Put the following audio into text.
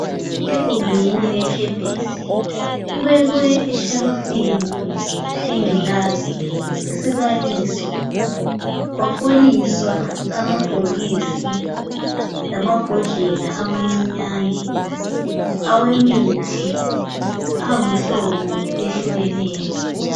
Egumbini lekemesi kubekwe eshelifini ingilazi isibaliso kwafoliswa amabhokisi lamabhodlela amancinyane awemithi angumhlobo owehlukeneyo.